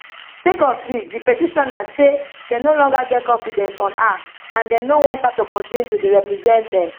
sake of dis di petitioners say dem no longer get confidence on her and dem no want her to continue to dey represent dem